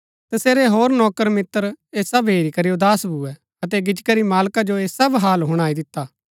तसेरै होर नौकर मित्र ऐह सब हेरी करी उदास भुऐ अतै गिच्ची करी मालका जो ऐह सब हाल हुणाई दिता